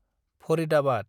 Faridabad